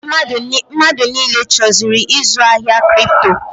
Mmadụ niile chọziri ịzụ ahịa Kripto.